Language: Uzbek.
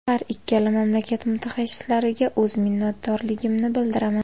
Har ikkala mamlakat mutaxassislariga o‘z minnatdorligimni bildiraman.